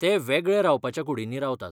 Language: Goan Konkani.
ते वेगळे रावपाच्या कुडींनी रावतात.